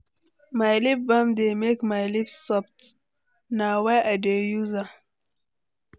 My lip balm dey make my lips soft; na why I dey use am.